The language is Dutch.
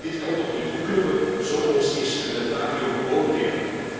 Dit kan toch niet! Hoe kunnen we zo ons instrumentarium beoordelen?